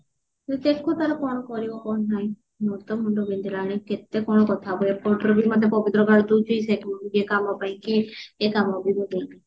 ଦେଖୁ ତାର କଣ କରିବା କଣ ନାହିଁ ମୋର ତ ମୁଣ୍ଡ ବିନ୍ଧିଲାଣି କେତେ କଣ କଥା ହବୁ ଏପଟରେବି ମତେ ପବିତ୍ର ଗାଳି ଦଉଚି ସେ କାମ ପାଇଁ କି ଏ କାମ ବି ମୁଁ ଦେଇନି